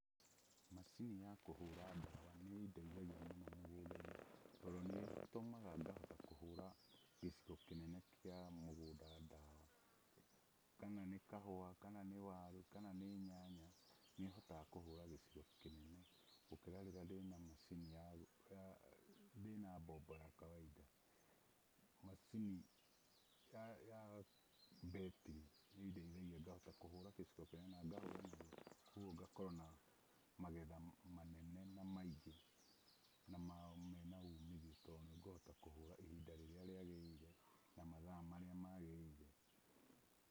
Macini ya kũhũra dawa nĩ ĩndeithagia mũno mũgũnda-inĩ tondũ nĩ ĩtũmaga ngahota kũhũra gĩcigo kĩnene kĩa mũgũnda dawa, kana nĩ kahũa kana nĩ waru kana nĩ nyanya, nĩ hotaga kũhũra gĩcigo kĩnene gũkĩra rĩrĩa ndĩna mbombo ya kawaida. Macini ya betin nĩ ĩndeithagia ngahota kũhũra gĩcigo kĩnene na ngahũra narua kũguo ngakorwo na magetha manene na maingĩ na magetha mena umithio tondũ nĩ ngũhota kũhũra ihinda rĩrĩa rĩagĩrĩire na mathaa marĩa magĩrĩire.